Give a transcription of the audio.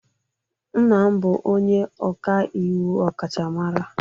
Nna m bụ onye ọka iwu ọkachamara